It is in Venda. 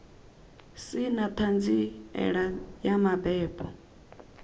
si na ṱhanziela ya mabebo